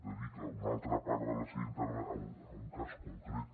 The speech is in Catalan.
dedica una altra part de la seva intervenció a un cas concret